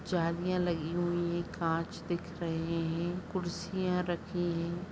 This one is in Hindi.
जालीयाँ लगी हुई हैं। कांच दिख रहे हैं। कुर्सियां रखी हैं।